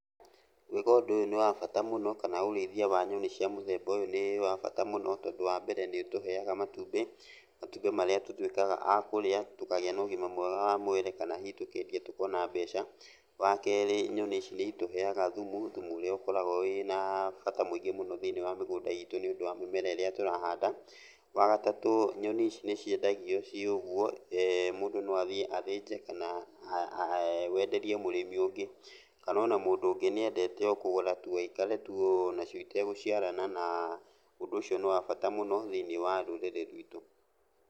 Gwĩka ũndũ ũyũ nĩ wa bata mũno, kana ũrĩithia wa nyoni cia mũthemba ũyũ nĩ wa bata mũno tondũ wambere, nĩũtũheaga matumbĩ. Matumbĩ marĩa tũtuĩkaga a kũrĩa tũkagĩa na ũgima mwega wa mwĩrĩ kana hihi tũkendia tũkona mbeca. Wakerĩ nyoni ici nĩitũheaga thumu, thumu ũrĩa ũkoragwo wĩna bata mũingĩ mũno thĩiniĩ wa mĩgũnda itũ nĩũndũ wa mĩmera ĩrĩa tũrahanda. Wagatatũ nyoni ici nĩciendagio ciĩ ũguo, mũndũ no athiĩ athĩnje kana wenderie mũrĩmi ũngĩ, kana ona mũndũ ũngĩ nĩendete o kũgũra tu o aikare tu onacio itegũciarana na ũndũ ũcio nĩ wa bata mũno thĩiniĩ wa rũrĩrĩ rwitũ.